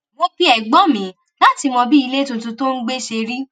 mo pe ẹ̀gbọ́n mi láti mọ bí ilé tuntun tó ń gbé ṣe rí